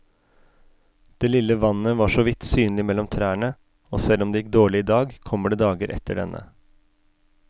Det lille vannet var såvidt synlig mellom trærne, og selv om det gikk dårlig i dag, kommer det dager etter denne.